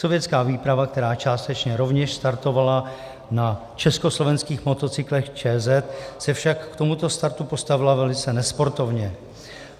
Sovětská výprava, která částečně rovněž startovala na československých motocyklech ČZ, se však k tomuto startu postavila velice nesportovně.